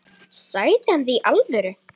Sagði hann það í alvöru?